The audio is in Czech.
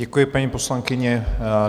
Děkuji, paní poslankyně.